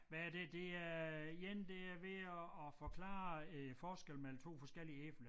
Hvad er det det er én der er ved at at forklare æ forskel mellem 2 forskellige æbler